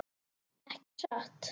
Ekki satt?